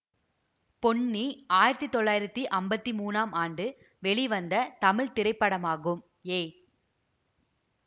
பொன்னி ஆயிரத்தி தொள்ளாயிரத்தி ஐம்பத்தி மூனாம் ஆண்டு வெளிவந்த தமிழ் திரைப்படமாகும் ஏ